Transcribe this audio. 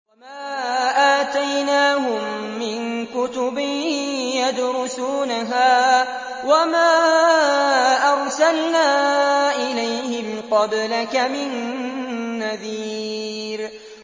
وَمَا آتَيْنَاهُم مِّن كُتُبٍ يَدْرُسُونَهَا ۖ وَمَا أَرْسَلْنَا إِلَيْهِمْ قَبْلَكَ مِن نَّذِيرٍ